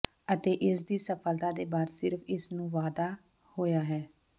ਅਤੇ ਇਸ ਦੀ ਸਫਲਤਾ ਦੇ ਬਾਅਦ ਸਿਰਫ ਇਸ ਨੂੰ ਵਾਧਾ ਹੋਇਆ ਹੈ